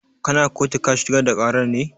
Kana kotu ka shigar da ƙarar ne?